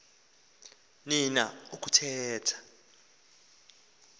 ni na ukuthetha